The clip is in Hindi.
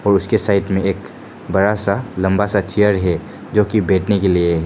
और उसके साइड में एक बड़ा सा लंबा सा चेयर जो की बैठने के लिए।